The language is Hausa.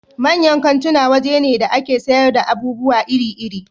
Manyan kantuna waje ne da a ke sayar da abubuwa iri iri